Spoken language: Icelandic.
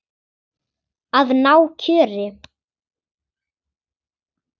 Að ná kjöri.